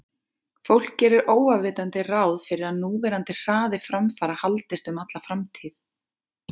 fólk gerir óafvitandi ráð fyrir að núverandi hraði framfara haldist um alla framtíð